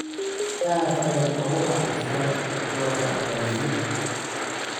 Aad ayaan u raaxaystay, Jovan ayaa yidhi.